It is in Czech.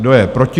Kdo je proti?